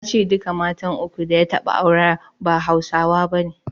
Ya ce duka matan uku da ya taɓa aure ba Hausawa bane.